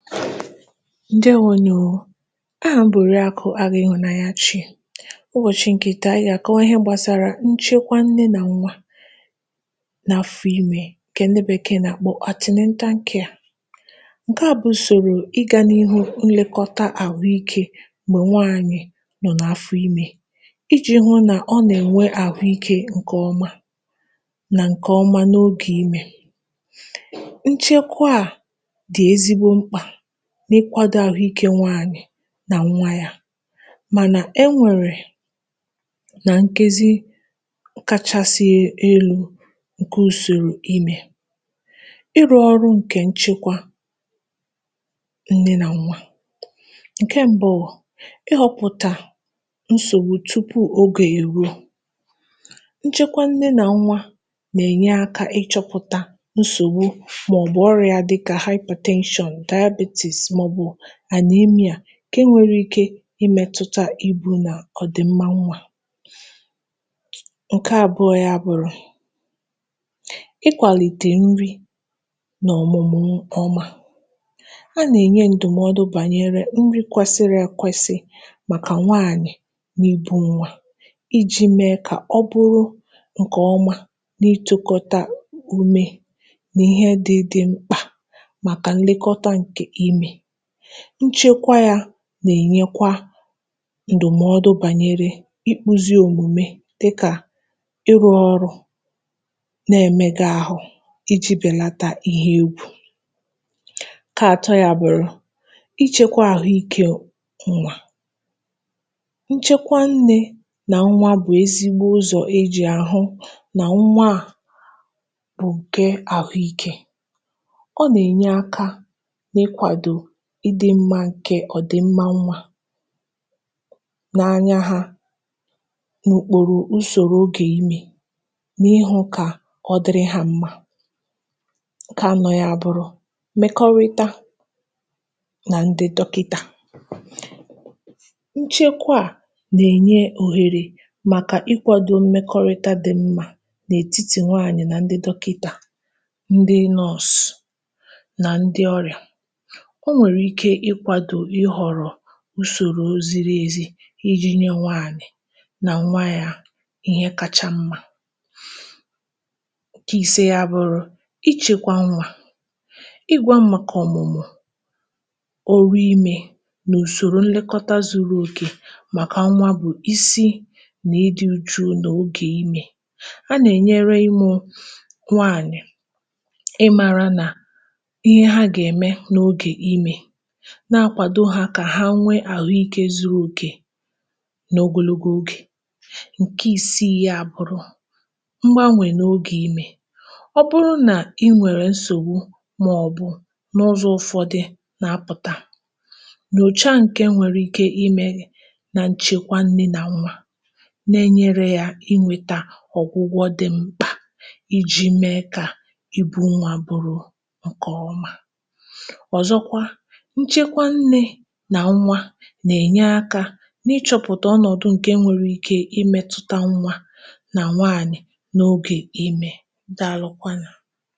ǹdèwo nụ̀. aha m bụ̀ Òriàkụ Agụ̄ Ihụnanyachị. ụbọ̀chị ǹkè tà, anyị gà àkọwa ihe gbàsara nchekwa nne nà nwa, n’afọ imē, ǹkẹ ndị Bẹ̀kẹẹ̀ nà àkpọ antenatal care. ǹkẹ à bụ̀ ùsòrò ịgān’ihu nlẹkọta àhụ ikē, m̀gbẹ̀ nwànyị nọ n’afọ, ijī hụ̄ nà ọ nà ẹ̀nwẹ àhụ ikē nà ǹkè ọma, n’ogè imē. nchẹkwa à dị̀ ezigbo mkpà n’ịkwādo àhụ ikē nwanyị na nwa ya, mànà ẹ nwẹ̀rè ǹkezi kachasị elū, ǹke ùsòrò imē. ịrụ̄ ọrụ̄ ǹkẹ̀ nchịkwa nne, nà nwa. ǹkẹ mbụ, ị họpụ̀tà nsògbu tupù ogè è ruo. nchẹkwa nnẹ nà nwa nà ènye akā ịchọ̄pụ̀tà nsògbu, mà ọ̀ bụ̀ ọrịā dị kà hypertension, diabetes, mà ọ̀ bụ̀ anemia, ǹke nwere ike ị mẹtụta ibū nà ọ̀dị̀mma nwā. ǹkẹ abụọ ya bụ̀ nà, ikwàlìtè nri n’ọ̀mụmụ ǹkẹ̀ ọma. ha nà ènye ǹdụ̀mọdụ bànyẹrẹ nri kwẹsịrị ẹkwẹsi màkàc nwanyị̀ nà ibū nwa, ijī mẹ kà ọ bụrụ ǹkẹ ọma na ịtụ̄kọta ume, nà ịhẹ ndị dị mkpà na nlẹkọta ǹkẹ̀ ime. nchekwa ya na è nyekwa ǹdụ̀mọdụ bànyẹrẹ ikpuzi òmùme, dịkà ịrụ̄ ọrụ na ẹmẹgẹ ahụ, ijī bẹ̀nata ihe egwu. ǹkẹ atọ ya bụ̀ nà ịchẹkwa ahụ ikē nwa. nchẹkwa nnē nà nwa bụ̀ ezigbo ụzọ̀ e jì à hụ nà nwa ahụ̀ bụ̀ ǹke ahu ikē. o nà ènye akā n’ịkwàdò ọ̀dịmma ǹkè nwa. n’anya ha, n’ùkpòrò usòro ogè imē, n’ịhụ̄ kà ọ dịrị ha mmā. ǹkẹ anọ ya abụrụ, mmẹkọrịta nà ndị dọkịtà. nchẹkwa à nà ènye òhèrè màkà ịkwādo mmẹkọrịta dị mā, n’ètitì nwanyị̀ nà ndị dọkịtà, ndị nurse, nà ndị ọrị̀à. o nwèrè ike ị kwàdò ị họ̀rọ̀ usòro ziri èzi, ijī nyẹ nwanyị̀ nà ǹwa ya ịhẹ kacha mmā. ǹkẹ ise ya awụrụ, ịchịkwa nwā, ị gwā m màkà ọ̀mụ̀mụ ọrụ imē, nà ùsòrò mmẹkọta zuru òkè màkà nwa bụ̀ isi nà idị̄ ụchụ nà ogè imē. a nà ẹ̀ nyẹrẹ imē nwanyị̀ ị māra nà ịhẹ a gà ẹ̀mẹ n’ogè imē, na akwàdo ha kà ha nwẹ àhụ ikē zuru òkè, n’ogologo ogè. ǹkẹ isiì ya abụrụ, nwa a nwẹ n’ogè imē. ọ bụrụ nà I nwèrè nsògbu, mà ọ̀ bụ̀ ụzọ̄ ụfọdị na apụ̀ta, nyòcha ǹkẹ̀ nwẹ̀rẹ̀ ike ị mẹ gị, na nchekwa nnē nà nwa, nà nyere ya aka ị nweta ọ̀gwụgwọ dị mkpà, I jī me kà I bū nwa bụrụ ǹkè ọma. ọ̀zọkwa, nchekwa nnē nà nwa nà ènye akā, n’ịchọ̄pụ̀tà ọnọ̀dụ ǹkè nwere ike ịmẹtụta nwa nà nwanyị̀ n’ogè imē. Daalụ kwanụ̀.